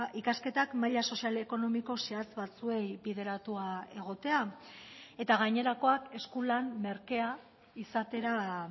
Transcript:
ikasketak maila sozial ekonomiko zehatz batzuei bideratua egotea eta gainerakoak eskulan merkea izatera